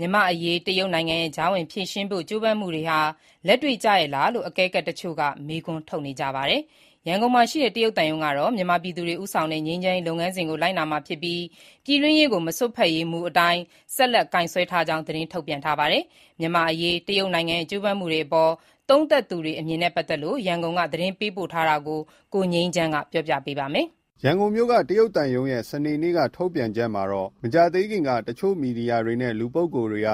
မြန်မာ့အရေး တရုတ်နိုင်ငံရဲ့ ကြားဝင်ဖြေရှင်းဖို့ ကြိုးပမ်းမှုတွေဟာ လက်တွေ့ကျရဲ့လားလို့ အကဲခတ်အချို့က မေးခွန်းထုတ်နေကြပါတယ်။ ရန်ကုန်မှာရှိတဲ့ တရုတ်သံရုံးကတော့ မြန်မာပြည်သူတွေ ဦးဆောင်တဲ့ ငြိမ်းချမ်းရေး လုပ်ငန်းစဉ်ကို လိုက်နာမှာဖြစ်ပြီး ပြည်တွင်းရေးကို မစွက်ဖက်ရေးမူအတိုင်း ဆက်လက် ကိုင်ဆွဲထားကြောင်း သတင်းထုတ်ပြန်ခဲ့တာပါ။ မြန်မာ့အရေး တရုတ်နိုင်ငံရဲ့ ကြိုးပမ်းမှုတွေအပေါ် သုံးသပ်သူတွေ အမြင်နဲ့ ပတ်သက်လို့ ရန်ကုန်က သတင်းပေးပို့ထားတာကို ကိုငြိမ်းချမ်း တင်ပြထားပါတယ်။ ရန်ကုန်မြို့က တရုတ်သံရုံးရဲ့ စနေနေ့က ထုတ်ပြန်ချက်မှာတော့ မကြာသေးမီက အချို့သောမီဒီယာတွေနဲ့ လူပုဂ္ဂိုလ်တွေက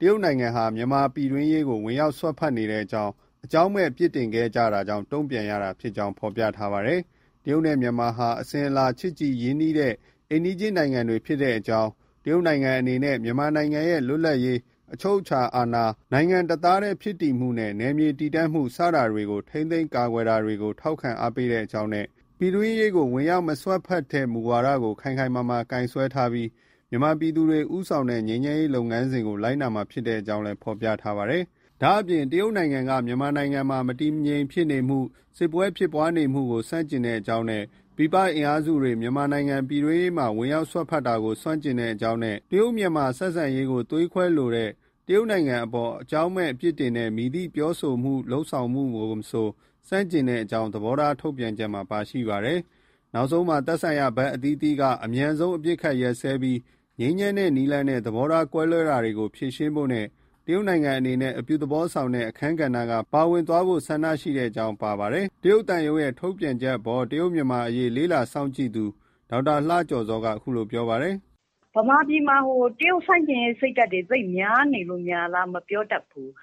တရုတ်နိုင်ငံဟာ မြန်မာနိုင်ငံ ပြည်တွင်းရေးကို စွက်ဖက်နေကြောင်း အကြောင်းမဲ့ ပြစ်တင်ခဲ့ကြတာကြောင့် တုံ့ပြန်ရတာဖြစ်ကြောင်း ဖော်ပြထားပါတယ်။ တရုတ်နဲ့ မြန်မာဟာ အစဉ်အလာချစ်ကြည်ရင်းနှီးတဲ့ အိမ်နီးချင်းနိုင်ငံတွေဖြစ်ကြောင်း၊ တရုတ်နိုင်ငံအနေနဲ့ မြန်မာနိုင်ငံရဲ့ လွတ်လပ်ရေး၊ အချုပ်အခြာအာဏာ၊ နိုင်ငံတစ်သားတည်းဖြစ်တည်မှုနဲ့ နယ်မြေတည်တံ့မှု စတာတွေ ထိန်းသိမ်းကာကွယ်တာကို ထောက်ခံအားပေးကြောင်းနဲ့ ပြည်တွင်းရေးကို ဝင်ရောက်မစွက်ဖက်ခြင်းမူဝါဒကို ခိုင်ခိုင်မာမာ ကိုင်စွဲထားပြီး မြန်မာပြည်သူတွေ ဦးဆောင်တဲ့ ငြိမ်းချမ်းရေးလုပ်ငန်းစဉ်ကို လိုက်နာမှာဖြစ်ကြောင်း ဖော်ပြပါတယ်။ ဒါ့အပြင် တရုတ်နိုင်ငံက မြန်မာနိုင်ငံမှာ မတည်မငြိမ်ဖြစ်မှု၊ စစ်ပွဲဖြစ်ပွားနေမှုကို ဆန့်ကျင်ကြောင်း ၊ ပြည်ပအင်အားစုက မြန်မာနိုင်ငံပြည်တွင်းရေးမှာ ဝင်ရောက်စွက်ဖက်မှုကို ဆန့်ကျင်ကြောင်းနဲ့ တရုတ်-မြန်မာဆက်ဆံရေးကို သွေးခွဲလိုတဲ့ တရုတ်နိုင်ငံအပေါ် အကြောင်းမဲ့ပြစ်တင်တဲ့ မည်သည့်ပြောဆို လုပ်ဆောင်မှုကို မဆို ဆန့်ကျင်ကြောင်းလည်း သဘောထားထုတ်ပြန်ချက်မှာ ပါရှိပါတယ်။ နောက်ဆုံးမှာ သက်ဆိုင်ရာဘက်အသီးသီးက အမြန်ဆုံး အပစ်အခတ်ရပ်စဲပြီး ငြိမ်းချမ်းတဲ့နည်းလမ်းနဲ့ သဘောထားကွဲလွဲတာတွေကို ဖြေရှင်းဖို့ နဲ့ တရုတ်နိုင်ငံအနေနဲ့ အပြုသဘောဆောင်တဲ့ အခန်းကဏ္ဍက ပါဝင်သွားဖို့ ဆန္ဒရှိကြောင်း ပါရှိပါတယ်။ တရုတ်သံရုံးရဲ့ ထုတ်ပြန်ချက်အပေါ် တရုတ်-မြန်မာအရေးစောင့်ကြည့်လေ့လာသူ ဒေါက်တာလှကျော်ဇော်က အခုလို ပြောဆိုပါတယ်။ “ ဗမာပြည်မှာ တရုတ်ဆန့်ကျင်ရေးစိတ်ဓါတ်တွေ သိပ်များနေလို့များလား မပြောတတ်ဘူး။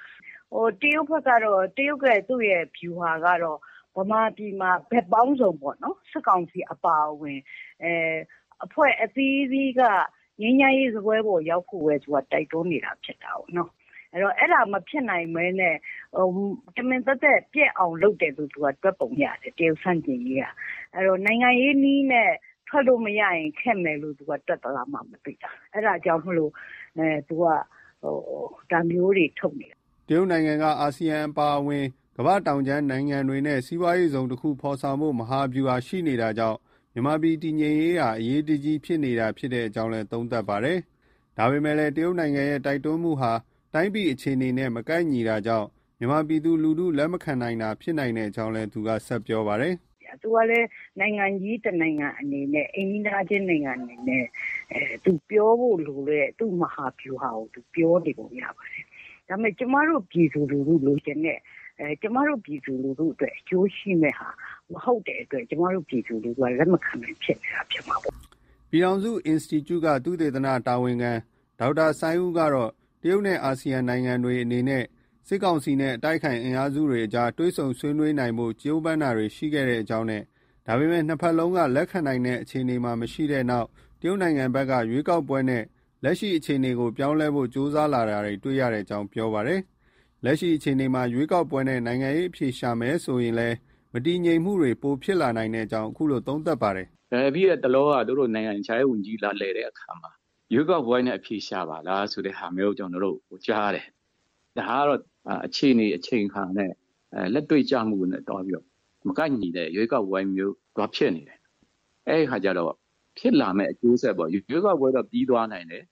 တရုတ်ဘက်ကတော့ တရုတ်ရဲ့ သူ့ရဲ့ဗျူဟာကတော့ ဗမာပြည်မှာ ဘက်ပေါင်းစုံပေါ့နော်။ စစ်ကောင်စီအပါအဝင် အဖွဲ့အသီးသီးက ငြိမ်းချမ်းရေးစားပွဲပေါ်ရောက်ဖို့ပဲ သူက တိုက်တွန်းနေတာဖြစ်တာကို။ အဲဒါ မဖြစ်နိုင်ဘဲနဲ့ တမင်သက်သက် ပျက်အောင်လုပ်တယ်လို့ တွက်ပုံရတယ်။ တရုတ်ဆန့်ကျင်ရေးက။ အဲတော့ နိုင်ငံရေးနည်းနဲ့ ထွက်လို့ မရရင် ခက်မယ်လို့ သူက တွက်သလားမှ မသိတာ။ အဲဒါကြောင့်မို့ သူက ဒါမျိုးတွေ ထုတ်နေတာ။ ” တရုတ်နိုင်ငံက အာဆီယံအပါအဝင် ကမ္ဘာတောင်ဘက်ခြမ်းနိုင်ငံတွေနဲ့ စီးပွားရေးဇုံတခု ဖော်ဆောင်ဖို့ မဟာဗျူဟာရှိနေတာကြောင့် မြန်မာပြည်တည်ငြိမ်ရေးဟာ အရေးကြီးနေတာဖြစ်ကြောင်းလည်း သုံးသပ်ပါတယ်။ ဒါပေမဲ့ တရုတ်နိုင်ငံရဲ့ တိုက်တွန်းမှုဟာ တိုင်းပြည်အခြေအနေနဲ့ မကိုက်ညီတာကြောင့် မြန်မာပြည်သူလူထုက လက်မခံနိုင်တာဖြစ်နိုင်ကြောင်းလည်း ဆက်ပြောပါတယ်။ “ သူကလည်း နိုင်ငံကြီး တနိုင်ငံအနေနဲ့ အိမ်နီးနားချင်း နိုင်ငံအနေနဲ့ သူပြောဖို့ လိုတဲ့ သူ့မဟာဗျူဟာကို သူ ပြောနေပုံရပါတယ်။ ဒါပေမဲ့ ကျမတို့ ပြည်သူလူထုလိုချင်တဲ့ ကျမတို့ ပြည်သူလူထုအတွက် အကျိုးရှိမယ့်ဟာ မဟုတ်တဲ့အတွက် ကျမတို့ ပြည်သူလူထုက လက်မခံနိုင်ဖြစ်နေတာ ဖြစ်မှာပေါ့ဗျာ။ ဒါပါပဲ။” ပြည်ထောင်စု Institute က သုတေသန တာဝန်ခံ ဒေါက်တာစိုင်းဦးကတော့ တရုတ်နဲ့ အာဆီယံနိုင်ငံတွေအနေနဲ့ စစ်ကောင်စီနဲ့ အတိုက်အခံအင်အားစုတွေအကြား တွေ့ဆုံဆွေးနွေးနိုင်ဖို့ ကြိုးပမ်းတာတွေ ရှိခဲ့ကြောင်း။ ဒါပေမယ့် နှစ်ဘက်စလုံးက လက်ခံနိုင်တဲ့အခြေအနေမရှိတဲ့နောက်မှာ တရုတ်နိုင်ငံဘက်က ရွေးကောက်ပွဲနဲ့ လက်ရှိအခြေအနေကို ပြောင်းလဲဖို့ ကြိုးစားလာတာတွေ့ရကြောင်း ပြောပါတယ်။ လက်ရှိအခြေအနေမှာ ရွေးကောက်ပွဲနဲ့ နိုင်ငံရေးအဖြေရှာမယ်ဆိုရင် မတည်ငြိမ်မှုတွေ ပိုမိုဖြစ်လာနိုင်ကြောင်း သုံးသပ်ပါတယ်။ “ပြီးတဲ့တလောက သူတို့ နိုင်ငံခြားရေးဝန်ကြီး လာလည်တဲ့အခါမှာ ရွေးကောက်ပွဲနဲ့ အဖြေရှာပါလား ဆိုတာမျိုးကို ကျနော်တို့ ကြားတယ်။ ဒါကတော့ အခြေအနေအချိန်အခါနဲ့ လက်တွေ့ကျမှုနဲ့သွားပြီးတော့ မကိုက်ညီတဲ့ရွေးကောက်ပွဲမျိုး သွားဖြစ်နေတယ်။ အဲတော့ ဖြစ်လာမယ့် အကျိုးဆက်ပေါ့။ ရွေးကောက်ပွဲတော့ ပြီးသွားနိုင်တယ်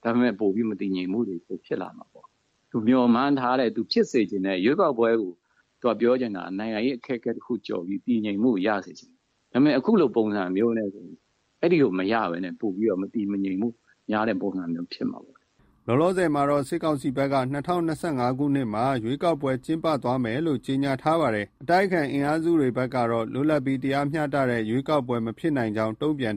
။ ဒါပေမဲ့ မတည်ငြိမ်မှုတွေ ပိုဖြစ်လာမှာ။ သူမျှော်မှန်းထားတဲ့ သူဖြစ်စေချင်တဲ့ ရွေးကောက်ပွဲကို သူက ပြောချင်တာက နိုင်ငံရေးအခက်အခဲကို ကျော်ပြီး တည်ငြိမ်မှုကို ရချင်တာ။ ဒါပေမဲ့ အခုလို ပုံစံမျိုးနဲ့ဆို အဲဒီကို မရဘဲနဲ့ ပိုပြီးတော့ မတည်မငြိမ်မှု များတဲ့ပုံစံမျိုးဖြစ်မှာပေါ့။” လောလောဆည်မှာတော့ စစ်ကောင်စီဘက်က ၂၀၂၅မှာ ရွေးကောက်ပွဲကျင်းပသွားမယ်လို့ ကြေညာထား ပါတယ်။ အတိုက်အခံအင်အားစုတွေကတော့ လွတ်လပ်ပြီးတရားမျှတတဲ့ ရွေးကောက်ပွဲမဖြစ်နိုင်ကြောင်း တုံပြန်